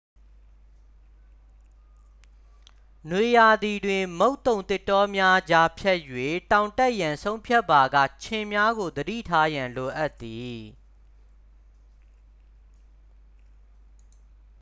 နွေရာသီတွင် မုတ်သုန်သစ်တောများကြား ဖြတ်၍ တောင်တက်ရန် ဆုံးဖြတ်ပါက ခြင်များကို သတိထားရန် လိုအပ်သည်